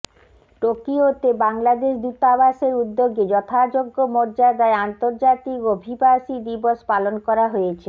টোকিওতে বাংলাদেশ দূতাবাসের উদ্যোগে যথাযোগ্য মর্যাদায় আন্তর্জাতিক অভিবাসী দিবস পালন করা হয়েছে